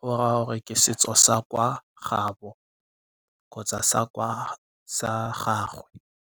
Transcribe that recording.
go raya gore ke setso sa kwa gaabo kgotsa sa kwa sa gagwe.